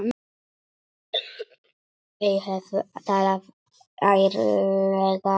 Þau hefðu talað ærlega saman.